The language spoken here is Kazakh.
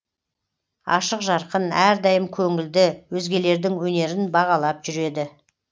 ашық жарқын әрдайым көңілді өзгелердің өнерін бағалап жүреді